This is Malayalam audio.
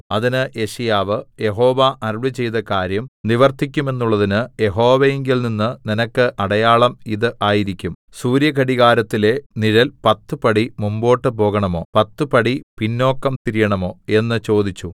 അതിന് യെശയ്യാവ് യഹോവ അരുളിച്ചെയ്ത കാര്യം നിവർത്തിക്കുമെന്നുള്ളതിന് യഹോവയിങ്കൽനിന്ന് നിനക്ക് അടയാളം ഇത് ആയിരിക്കും സൂര്യ ഘടികാരത്തിലെ നിഴൽ പത്ത് പടി മുമ്പോട്ട് പോകണമോ പത്ത് പടി പിന്നോക്കം തിരിയണമോ എന്ന് ചോദിച്ചു